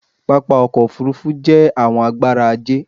Pápá ọkọ̀ òfurufú jé àwọn agbára ajé